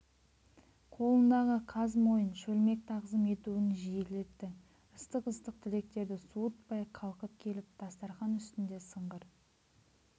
қолындағы қаз мойын шөлмек тағзым етуін жиілетті ыстық-ыстық тілектерді суытпай қалқып келіп дастархан үстінде сыңғыр